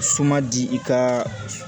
Suma di i ka